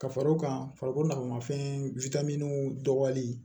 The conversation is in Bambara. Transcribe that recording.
Ka far'o kan farikolo ɲanagama fɛn dɔgɔyali